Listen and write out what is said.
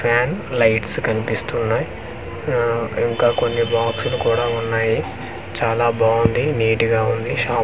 Fan lights కన్పిస్తున్నాయ్ ఆ ఇంకా కొన్ని బాక్సులు కూడా ఉన్నాయి చాలా బాంది నీట్ గా ఉంది షాప్ .